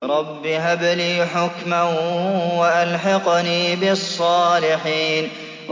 رَبِّ هَبْ لِي حُكْمًا وَأَلْحِقْنِي بِالصَّالِحِينَ